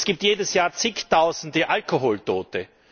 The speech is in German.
Es gibt jedes Jahr zigtausende Alkoholtote.